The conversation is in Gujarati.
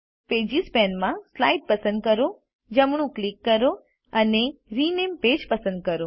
પેજીસ પેનમાં સ્લાઇડ પસંદ કરો જમણું ક્લિક કરો અને રિનેમ પેજ પસંદ કરો